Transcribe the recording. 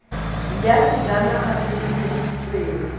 ya sejanaga se se dirisitsweng